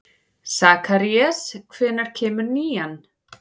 Sakarías, hvenær kemur nían?